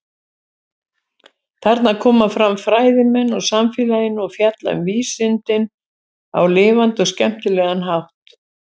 Þarna koma fram fræðimenn úr samfélaginu og fjalla um vísindin á lifandi og skemmtilega hátt.